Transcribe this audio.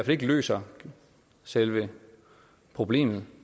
ikke løser selve problemet